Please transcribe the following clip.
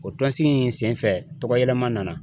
O tɔnsigi in senfɛ tɔgɔyɛlɛma nana